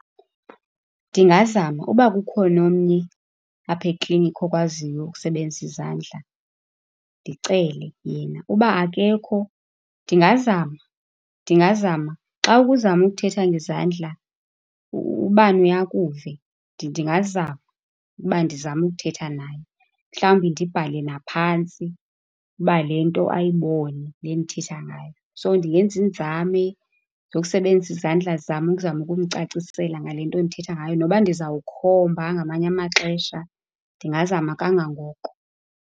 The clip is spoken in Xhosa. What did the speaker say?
Ndingazama. Uba kukhona omnye apha eklinikhi okwaziyo ukusebenzisa izandla, ndicele yena. Uba akekho, ndingazama ndingazama. Xa uzama ukuthetha ngezandla, ubani uye akuve. ndingazama uba ndizame ukuthetha naye. Mhlawumbi ndibhale naphantsi uba le nto ayibone, le ndithetha ngayo. So, ndingenza iinzame zokusebenzisa izandla zam ukuzama ukumcacisela ngale nto endithetha ngayo nokuba ndizawukhomba ngamanye amaxesha, ndingazama kangangoko.